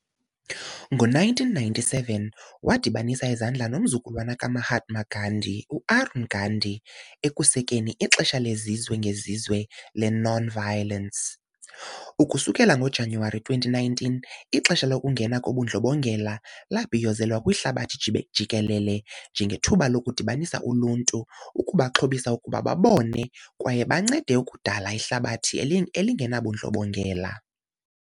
Ngo-1997 wadibanisa izandla nomzukulwana ka -Mahatma Gandhi, u-Arun Gandhi, ekusekeni "iXesha lezizwe ngezizwe lokuNonviolence" . Ukususela ngoJanuwari 2019, "iXesha lokuNgena koBundlobongela" labhiyozelwa kwihlabathi jikelele njengethuba "lokudibanisa uluntu, ukubaxhobisa ukuba babone kwaye bancede ukudala ihlabathi elingenabundlobongela."